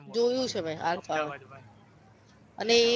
જોયુ છે મે alpha one અને એ